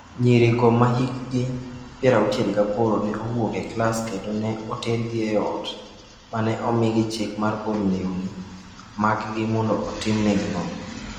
Nyirigo ma hikgi 68 ne owuok e klas kendo ne otergi e ot ma ne omiye chik mar golo lewni maggi mondo otimnegi nonro.